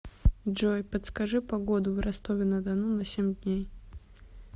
джой подскажи погоду в ростове на дону на семь дней